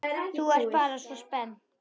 Þú ert bara svona spennt.